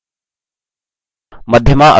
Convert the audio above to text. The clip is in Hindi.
मध्यमा अक्षर k पर हो